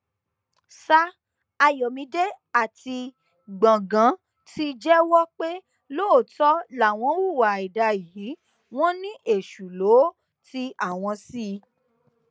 sa ayọmídé àti gbọngàn ti jẹwọ pé lóòótọ làwọn hùwà àìdá yìí wọn ni èṣù lọ ti àwọn sí i